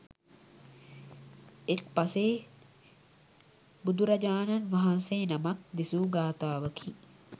එක් පසේ බුදුරජාණන් වහන්සේ නමක් දෙසූ ගාථාවකි.